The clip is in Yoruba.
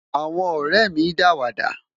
àwọn orèmi dawada